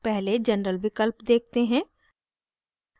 पहले general विकल्प देखते हैं